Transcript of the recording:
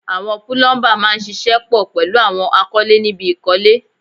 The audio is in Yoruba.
Àwọn púlúḿbà máa ń ṣiṣẹ́ pọ̀ pẹ̀lú àwọn akọ́lé níbi ìkọ́lé